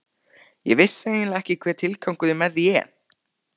Ég vissi eiginlega ekki hver tilgangurinn með því er.